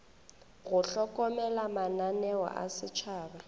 go hlokomela mananeo a setšhaba